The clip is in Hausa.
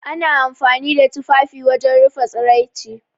Ana amfani da tufafi wajen rufe tsaraici.